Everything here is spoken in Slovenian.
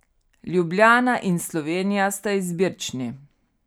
Ljubljana in Slovenija sta izbirčni.